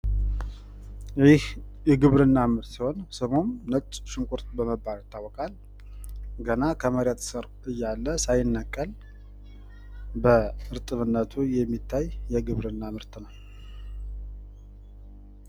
ይህ የግብርና ምርት ሲሆን ፤ ስሙም ነጭ ሽንኩርት በመባል ይታወቃል፣ ገና ከመሬት ስር እያለ ሳይነቀል በእርጥብነቱ የሚታይ የግብርና ምርት ነው።